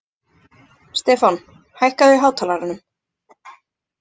Stefán, hækkaðu í hátalaranum.